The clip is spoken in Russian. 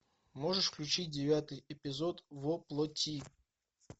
можешь включить девятый эпизод во плоти